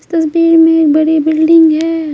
तस्वीर में में एक बड़ी बिल्डिंग है।